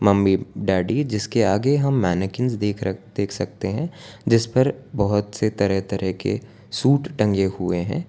Mummy daddy जिसके आगे हम मैनीकेन देख सकते हैं जिस पर बहुत से तरह तरह के सूट टंगे हुए हैं।